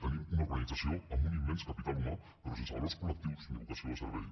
tenim una organització amb un immens capital humà però sense valors col·lectius ni vocació de servei